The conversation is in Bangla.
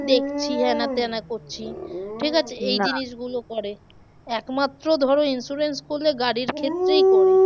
দেখছি হ্যানা ত্যানা করছি ঠিক আছে গুলো করে। একমাত্র ধরো insurance করলে গাড়ির ক্ষেত্রেই করে।